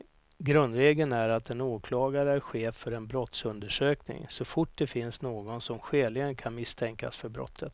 Grundregeln är att en åklagare är chef för en brottsundersökning så fort det finns någon som skäligen kan misstänkas för brottet.